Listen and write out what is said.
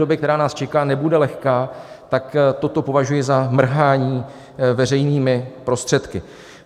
Doba, která nás čeká, nebude lehká, tak toto považuji za mrhání veřejnými prostředky.